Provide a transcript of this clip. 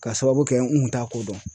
Ka sababu kɛ n kun t'a ko dɔn.